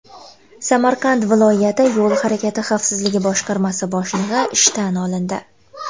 Samarqand viloyati Yo‘l harakati xavfsizligi boshqarmasi boshlig‘i ishdan olindi.